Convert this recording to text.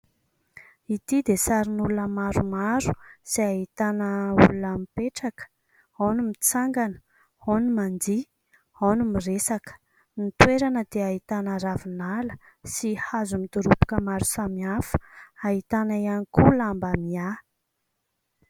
Ity dia sarin'olona maromaro izay ahitana olona mipetraka, ao ny mitsangana, ao ny mandihy, ao ny miresaka. Ny toerana dia ahitana ravinala sy hazo midoroboka maro samy hafa, ahitana ihany koa lamba miahy.